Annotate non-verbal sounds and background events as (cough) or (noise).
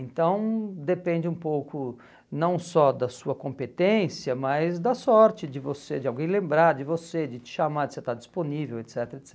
Então depende um pouco não só da sua competência, mas da sorte de você, de alguém lembrar de você, de te chamar, de você estar disponível, et cetera (unintelligible)